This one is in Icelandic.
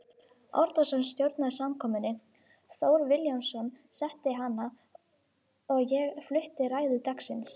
Árnason stjórnaði samkomunni, Thor Vilhjálmsson setti hana og ég flutti ræðu dagsins.